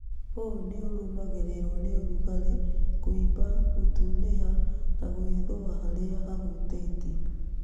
ũ nĩũrũmagĩrĩrwo nĩ ũrugarĩ, kũimba, gũtunĩha na gwĩthũa harĩa hahutĩtio